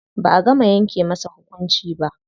Ba'a gama yanke masa hukunci ba.